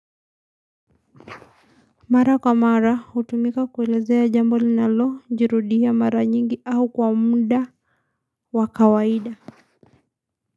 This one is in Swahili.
Mara kwa mara hutumika kuelezea jambo linalo jirudia mara nyingi au kwa muda wa kawaida.